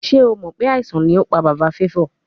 Ṣe o mọ pe aisan ni o pa baba Favour?